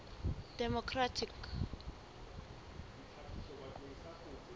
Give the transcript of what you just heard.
democratic